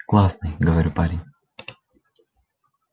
классный говорю парень